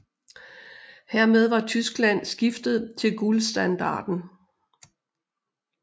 Hermed var Tyskland skiftet til guldstandarden